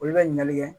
Olu bɛ ɲinali kɛ